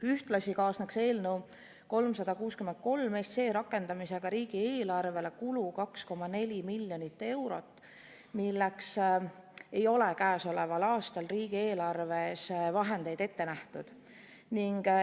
Ühtlasi kaasneks eelnõu 363 rakendamisega riigieelarvele kulu 2,4 miljonit eurot, milleks ei ole käesoleval aastal riigieelarves vahendeid ette nähtud.